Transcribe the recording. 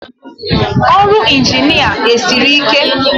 Ọrụ Ịnjinịa esiri ike?